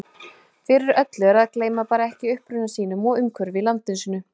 Fyrir öllu er að gleyma bara ekki uppruna sínum og umhverfi í landi sínu.